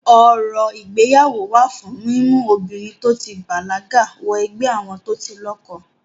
Orò ìgbéyàwó wà fún mímú obìnrin to ti bàlágà wọ ẹgbẹ́ àwọn tó ti lọ́kọ.